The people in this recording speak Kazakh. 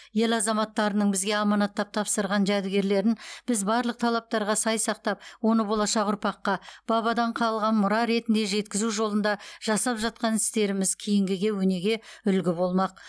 ел азаматтарының бізге аманаттап тапсырған жәдігерлерін біз барлық талаптарға сай сақтап оны болашақ ұрпаққа бабадан қалған мұра ретінде жеткізу жолында жасап жатқан істеріміз кейінгіге өнеге үлгі болмақ